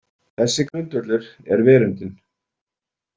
Þessi grundvöllur er verundin.